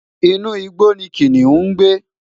inu igbó ni kiniun ń gbé